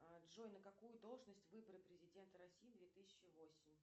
джой на какую должность выборы президента россии две тысячи восемь